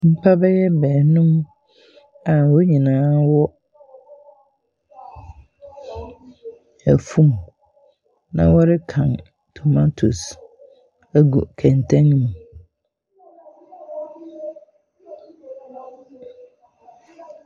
Nnipa bɛyɛ baanum a wɔn nyinaa wɔ afum. Na wɔrekan tomatoes agu kɛntɛn mu.